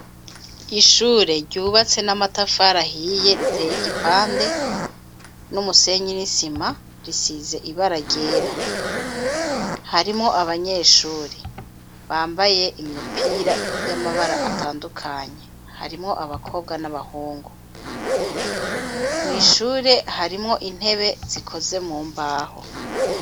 Ishure ryubatse n'amatafari ahiye riteye igipande n'umusenyi n'isima risize ibara ryera. Harimwo abanyeshure bambaye imipira y'amabara atandukanye harimwo abakobwa n'abahungu. Mw'ishure harimwo intebe zikozwe mu mbaho.